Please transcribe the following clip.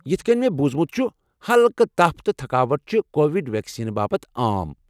یتھ كٕنۍ مےٚ بوٗزمُت چھ ہلكہٕ تپھ تہٕ تھكاوٹھ چھِ کووِڈ ویكسینہٕ باپت عام ۔